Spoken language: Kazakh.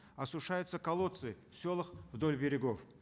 осушаются колодцы в селах вдоль берегов